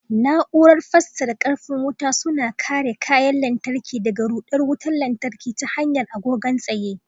Na'urar fasarar karfin wuta suna kare kayan lantarki daga ruɗar wutar lantarki ta hanyar agogon tsaye.